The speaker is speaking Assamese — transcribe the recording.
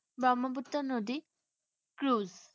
ব্ৰহ্মপুত্ৰ নদী, cruze